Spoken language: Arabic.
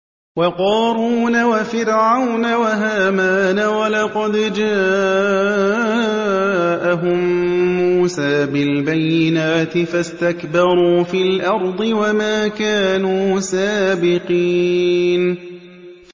وَقَارُونَ وَفِرْعَوْنَ وَهَامَانَ ۖ وَلَقَدْ جَاءَهُم مُّوسَىٰ بِالْبَيِّنَاتِ فَاسْتَكْبَرُوا فِي الْأَرْضِ وَمَا كَانُوا سَابِقِينَ